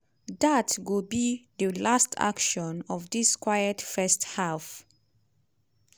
dat go be di last action of dis quiet first half.